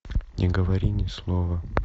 не говори ни слова